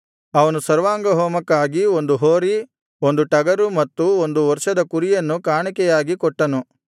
ಅವನು ಸರ್ವಾಂಗಹೋಮಕ್ಕಾಗಿ ಒಂದು ಹೋರಿ ಒಂದು ಟಗರು ಮತ್ತು ಒಂದು ವರ್ಷದ ಕುರಿಯನ್ನು ಕಾಣಿಕೆಯಾಗಿ ಕೊಟ್ಟನು